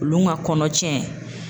Olu ka kɔnɔ tiɲɛ